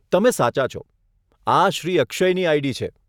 તમે સાચા છો, આ શ્રી અક્ષયની આઈડી છે.